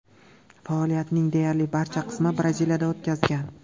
Faoliyatining deyarli barcha qismini Braziliyada o‘tkazgan.